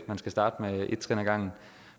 man skal starte med et trin ad gangen